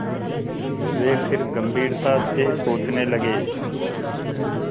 वे फिर गम्भीरता से सोचने लगे